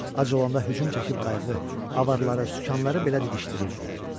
Ac olanda hücum çəkib qayığı, avarları, sükanları belə didişdirirdilər.